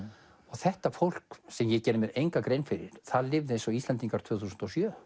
þetta fólk sem ég geri mér enga grein fyrir lifði eins og Íslendingar tvö þúsund og sjö